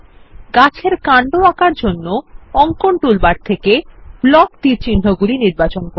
গাছ এর কান্ড আঁকার জন্য অঙ্কন টুলবার থেকে ব্লক তীরচিহ্নগুলি নির্বাচন করুন